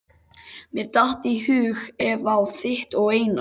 Mér datt í hug Eva á þitt og Einar